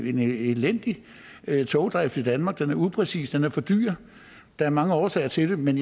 en elendig togdrift i danmark den er upræcis og den er for dyr der er mange årsager til det men